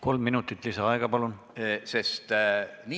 Kolm minutit lisaaega, palun!